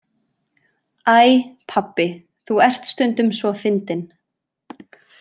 Æ, pabbi, þú ert stundum svo fyndinn!